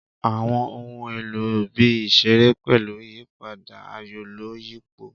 Àwọn ohun èlò ibi ìṣeré pẹ̀lú ìyípadà, ayọ̀-lọ-yípo.